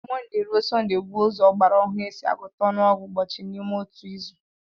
Mọnde ruo Sọnde bụ ụzọ ọgbara ọhụrụ a si agụta ọnụọgụ ụbọchị n'ime otu izu